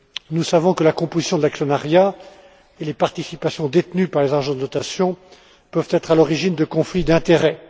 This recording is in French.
Nous savons que la composition de l'actionnariat et les participations détenues par les agences de notation peuvent être à l'origine de conflits d'intérêts.